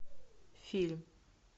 фильм